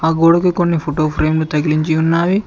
ఆ గోడకి కొన్ని ఫోటో ఫ్రేమ్ తగిలించి ఉన్నావి.